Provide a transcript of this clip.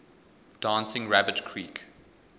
dancing rabbit creek